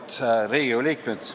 Auväärt Riigikogu liikmed!